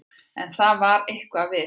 En það var eitthvað við